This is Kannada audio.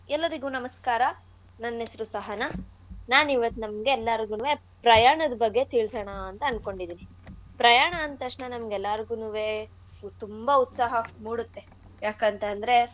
ಎಲ್ಲರಿಗೂ ನಮಸ್ಕಾರ. ನನ್ ಹೆಸ್ರು ಸಹನಾ. ನಾನಿವತ್ತ್ ನಿಮ್ಗೆ ಎಲ್ಲಾರ್ಗೂವೇ ಪ್ರಯಾಣದ್ ಬಗ್ಗೆ ತಿಳ್ಸೋಣ ಅಂತ ಆನ್ಕೊಂಡಿದೀನಿ. ಪ್ರಯಾಣ ಅಂದ್ತಕ್ಷ್ಣ ನಮ್ಗೆಲ್ಲಾರ್ಗೂನುವೆ ತುಂಬಾ ಉತ್ಸಾಹ ಮೂಡುತ್ತೆ ಯಾಕಂತಂದ್ರೆ.